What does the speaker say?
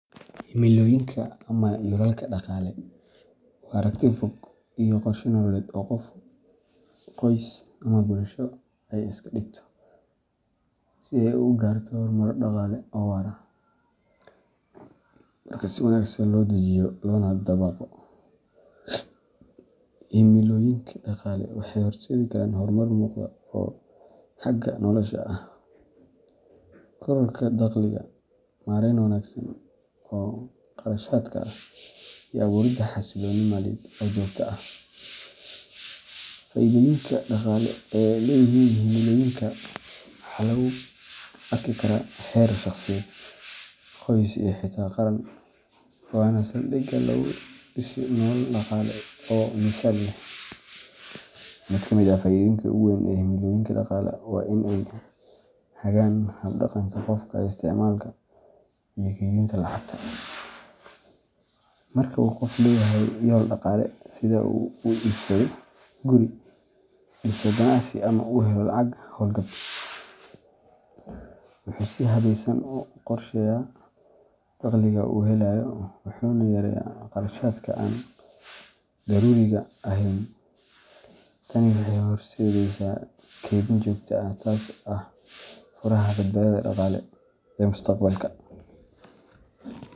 Himilooyinka ama yoolalka dhaqaale waa aragti fog iyo qorshe nololeed oo qof, qoys, ama bulsho ay iska dhigto si ay u gaarto horumar dhaqaale oo waara. Marka si wanaagsan loo dejiyo loona dabaqo, himilooyinka dhaqaale waxay horseedi karaan horumar muuqda oo xagga nolosha ah, korodhka dakhliga, maareyn wanaagsan oo kharashaadka ah, iyo abuuridda xasillooni maaliyadeed oo joogto ah. Faa’iidooyinka dhaqaale ee ay leeyihiin himilooyinka waxaa lagu arki karaa heer shaqsiyeed, qoys, iyo xitaa qaran, waana saldhigga lagu dhiso nolol dhaqaale oo miisaan leh. Mid ka mid ah faa’iidooyinka ugu weyn ee himilooyinka dhaqaale waa in ay hagaan hab-dhaqanka qofka ee isticmaalka iyo kaydinta lacagta. Marka uu qof leeyahay yool dhaqaale, sida in uu iibsado guri, dhiso ganacsi, ama uu helo lacag hawlgab, wuxuu si habeysan u qorsheeyaa dakhliga uu helayo, wuxuuna yareeyaa kharashaadka aan daruuriga ahayn. Tani waxay horseedaysaa kaydin joogto ah, taasoo ah furaha badbaadada dhaqaale ee mustaqbalka.